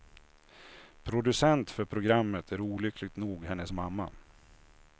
Producent för programmet är olyckligt nog hennes mamma.